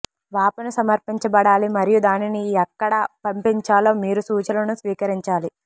వాపసు సమర్పించబడాలి మరియు దానిని ఎక్కడ పంపించాలో మీరు సూచనలను స్వీకరించాలి